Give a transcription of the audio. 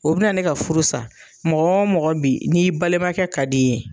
O bɛna ne ka furu sa, mɔgɔɔ mɔgɔ bi n'i balimakɛ ka d'i ye